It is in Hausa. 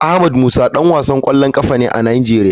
Ahmed musa dan wasan kwallon kafa ne a nigeria.